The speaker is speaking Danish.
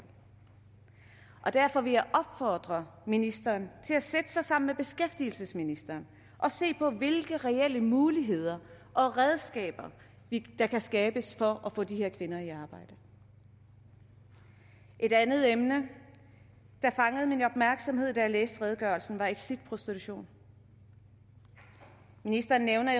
derfor vil jeg opfordre ministeren til at sætte sig sammen med beskæftigelsesministeren og se på hvilke reelle muligheder og redskaber der kan skabes for at få de her kvinder i arbejde et andet emne der fangede min opmærksomhed da jeg læste redegørelsen var exit prostitution ministeren nævner